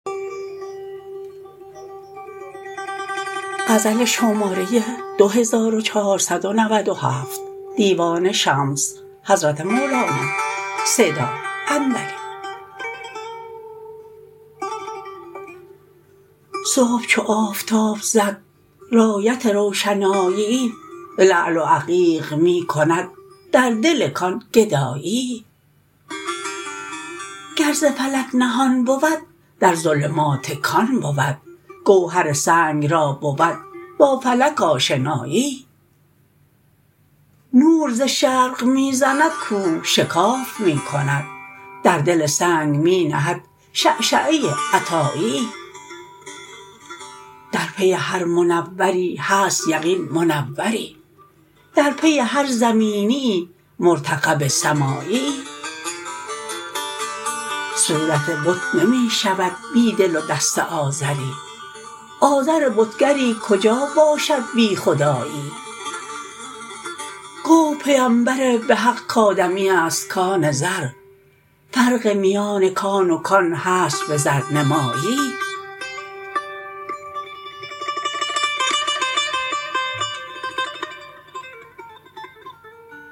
صبح چو آفتاب زد رایت روشناییی لعل و عقیق می کند در دل کان گداییی گر ز فلک نهان بود در ظلمات کان بود گوهر سنگ را بود با فلک آشناییی نور ز شرق می زند کوه شکاف می کند در دل سنگ می نهد شعشعه عطاییی در پی هر منوری هست یقین منوری در پی هر زمینیی مرتقب سماییی صورت بت نمی شود بی دل و دست آزری آزر بتگری کجا باشد بی خداییی گفت پیمبر به حق کآدمی است کان زر فرق میان کان و کان هست به زرنماییی